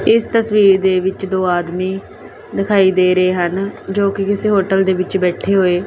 ਇਸ ਤਸਵੀਰ ਦੇ ਵਿੱਚ ਦੋ ਆਦਮੀ ਦਿਖਾਈ ਦੇ ਰਹੇ ਹਨ ਜੋ ਕਿ ਕਿਸੇ ਹੋਟਲ ਦੇ ਵਿੱਚ ਬੈਠੇ ਹੋਏ--